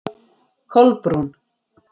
Kolbrún